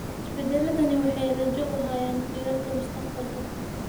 Isbeddelladani waxay rajo u hayaan jiilalka mustaqbalka.